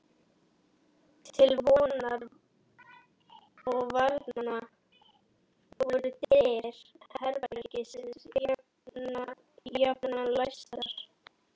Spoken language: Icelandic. Til vonar og vara voru dyr herbergisins jafnan læstar.